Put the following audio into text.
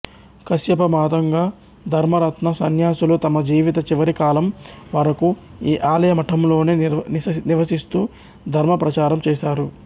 కశ్యప మాతంగ ధర్మరత్న సన్యాసులు తమ జీవిత చివరికాలం వరకూ ఈ ఆలయ మఠంలోనే నివసిస్తూ ధర్మ ప్రచారం చేసారు